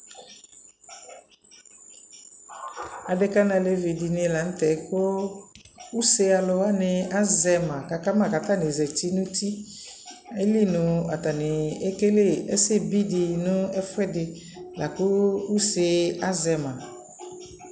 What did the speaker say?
Adeka nʋ alevi dιnι la nʋ tɛɛ kʋ use alʋ wanι azɛ ma, kʋ aka ma kʋ atanι zati nʋ uti, ayili nʋ atanι ekele ɛsɛ bi dι nʋ ɛfʋɛdι la kʋ use azɛ ma